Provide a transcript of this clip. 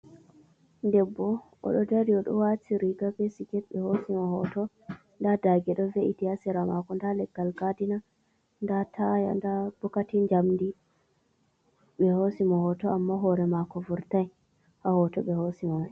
Debbo oɗo dari oɗo waati riiga be siiket ɓe hoosimo hootoo. Nda daage ɗo vee'iti ha seera maako nda Leggal gaadina nda taaya nda bokiiti njamdi. Ɓe hoosimo hooto amma hoore maako vurtai ha hooto ɓe hoosimo mai.